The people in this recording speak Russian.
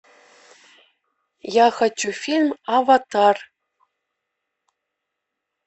я хочу фильм аватар